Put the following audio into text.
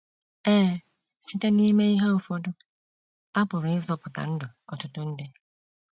Ee, site n’ime ihe ụfọdụ, a pụrụ ịzọpụta ndụ ọtụtụ ndị.